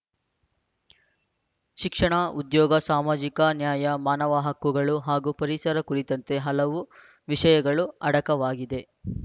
ಶಿಕ್ಷಣ ಉದ್ಯೋಗ ಸಾಮಾಜಿಕ ನ್ಯಾಯ ಮಾನವ ಹಕ್ಕುಗಳು ಹಾಗೂ ಪರಿಸರ ಕುರಿತಂತೆ ಹಲವು ವಿಷಯಗಳು ಅಡಕವಾಗಿದೆ